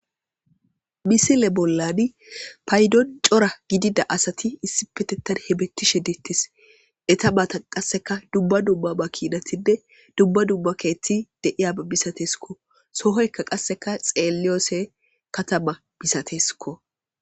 misile bollani paydon cora gidida asati issi petettan hebetishi dittis eta maata qasseka dubba dubbaba kiidatide dubba dubba keeti deiya bisatesikko sohoyka qasseka xeelliyose katama bisatesikko